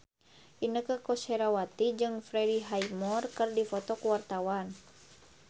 Inneke Koesherawati jeung Freddie Highmore keur dipoto ku wartawan